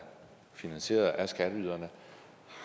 finansieret af skatteyderne